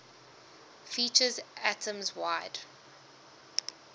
features atoms wide